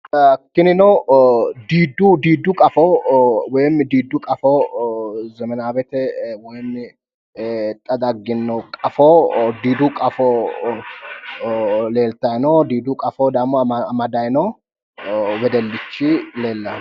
Tininuo diiddu qaffo woyim diiddu qaffo zemenawete woyim ee xa dagino qaffo diiddu qaffo leelitayi no diiddu qaffo dagimo amadayi no wedellichi leelayi no